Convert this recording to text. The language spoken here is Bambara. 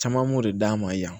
Caman b'o de d'an ma yan